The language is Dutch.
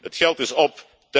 Voorzitter, het geld is op.